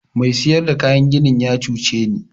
Mai siyar da kayan ginin ya cuce ni.